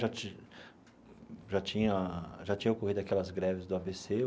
Já ti já tinha já tinha ocorrido aquelas greves do a bê cê.